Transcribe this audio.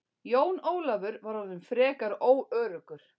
Jón Ólafur var orðinn frekar óöruggur.